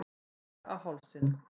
Skar á hálsinn.